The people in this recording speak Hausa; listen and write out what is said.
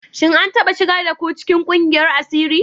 Shin an taɓa shigar da ku cikin ƙungiyar asiri?